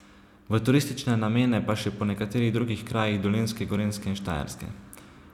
V turistične namene pa še po nekaterih drugih krajih Dolenjske, Gorenjske in Štajerske.